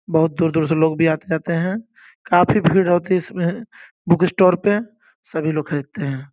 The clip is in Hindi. बहुत दूर-दूर से लोग भी आते जाते हैं काफ़ी भीड़ होती है इसमें बुक स्टोर पे सभी लोग खरीदते हैं।